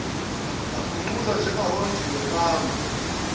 agungquza njengakanondindwa nango